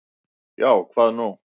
Já, hvað nú?